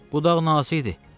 Budaq nazik idi.